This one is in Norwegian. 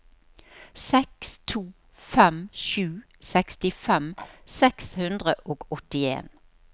seks to fem sju sekstifem seks hundre og åttien